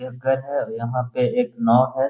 एक घर है और यहाँ पे एक नाव है।